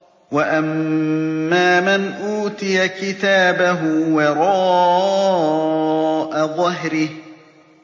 وَأَمَّا مَنْ أُوتِيَ كِتَابَهُ وَرَاءَ ظَهْرِهِ